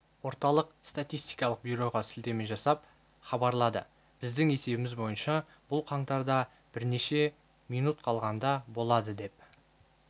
орталық статистикалық бюроға сілтеме жасап хабарлады біздің есебіміз бойынша бұл қаңтарда бірнеше минут қалғанда болады деп